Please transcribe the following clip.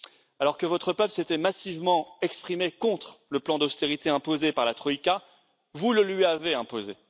Alors que votre peuple s'était massivement exprimé contre le plan d'austérité imposé par la Troïka, vous le lui avez imposé.